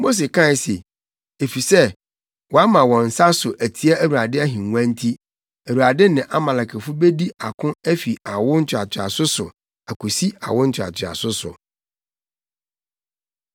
Mose kae se, “Efisɛ wɔama wɔn nsa so atia Awurade ahengua nti, Awurade ne Amalekfo bedi ako afi awo ntoatoaso so akosi awo ntoatoaso so.”